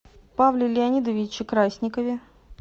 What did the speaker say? павле леонидовиче красникове